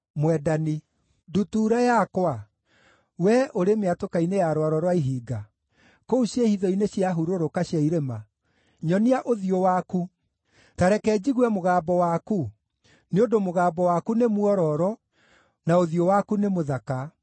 Ndutura yakwa wee ũrĩ mĩatũka-inĩ ya rwaro rwa ihinga, kũu ciĩhitho-inĩ cia hurũrũka cia irĩma, nyonia ũthiũ waku, ta reke njigue mũgambo waku; nĩ ũndũ mũgambo waku nĩ mwororo, na ũthiũ waku nĩ mũthaka.